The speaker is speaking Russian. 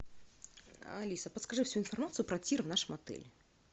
алиса подскажи всю информацию про тир в нашем отеле